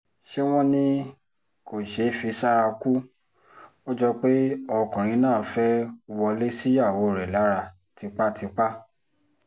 ṣé wọ́n ní kò ṣeé fi sára kù ó jọ pé ọkùnrin náà fẹ́ẹ́ wọlé síyàwó rẹ̀ lára tipátipá